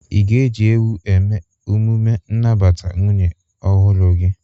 Ị ga-eji ewu eme emume nnabata nwunye ọhụrụ gị?